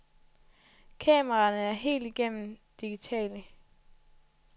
Kameraerne er helt igennem digitale.